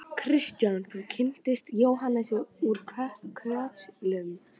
Kristján: Og þú kynntist Jóhannesi úr Kötlum?